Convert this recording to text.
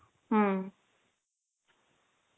হম